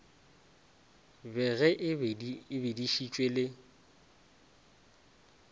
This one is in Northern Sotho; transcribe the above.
be ge e bedišitšwe le